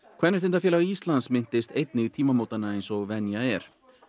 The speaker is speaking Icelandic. kvenréttindafélag Íslands minntist einnig tímamótanna eins og venja er